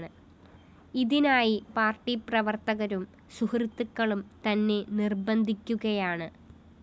ഇതിനായി പാര്‍ട്ടി പ്രവര്‍ത്തകരും സുഹൃത്തുക്കളും തന്നെ നിര്‍ബന്ധിക്കുകയാണ്